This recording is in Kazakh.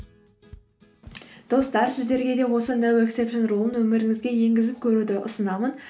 достар сіздерге де осы ноу ексепшен рулын өміріңізге енгізіп көруді ұсынамын